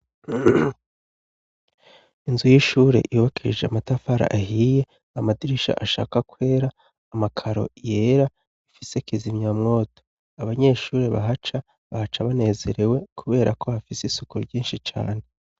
Inzu y'ishure yubakishije amatafara ahiye amadirisha ashaka kwera, amakaro yera ifise kizimya mwoto abanyeshuri bahaca bahaca banezerewe kuberako hafise isuku ryinshi cane.